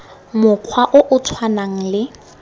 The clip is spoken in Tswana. mokgwa o o tshwanang le